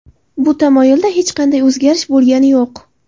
Bu tamoyilda hech qanday o‘zgarish bo‘lgani yo‘q.